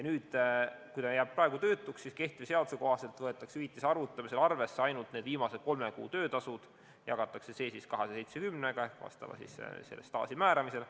Kui ta jääb praegu töötuks, siis kehtiva seaduse kohaselt võetakse hüvitise arvutamisel arvesse ainult need viimased kolme kuu töötasud ja jagatakse see 270-ga vastava staaži määramisel.